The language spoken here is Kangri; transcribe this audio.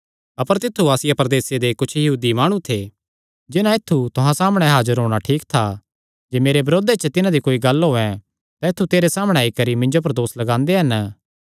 अपर तित्थु आसिया प्रदेसे दे कुच्छ यहूदी माणु थे जिन्हां ऐत्थु तुहां सामणै हाजर होणा ठीक था जे मेरे बरोधे च तिन्हां दी कोई गल्ल होयैं तां ऐत्थु तेरे सामणै आई करी मिन्जो पर दोस लगांदे हन